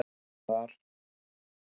Ég var þar